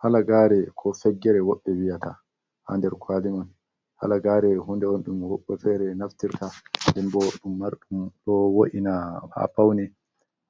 Halagare ko feggere woɓɓe viyata ha nder kwalimon. Halagare hunde on ɗum woɓɓe fere naftirta nden bo ɗum marɗum ɗo wo’ina ha faune.